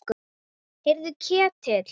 Heyrðu Ketill.